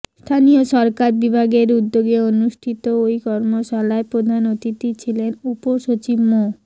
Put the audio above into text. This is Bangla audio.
স্থানীয় সরকার বিভাগের উদ্যোগে অনুষ্ঠিত ওই কর্মশালায় প্রধান অতিথি ছিলেন উপসচিব মো